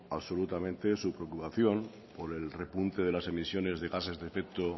absolutamente su preocupación por el repunte de las emisiones de gases de efecto